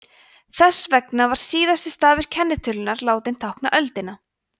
þess vegna er síðasti stafur kennitölunnar látinn tákna öldina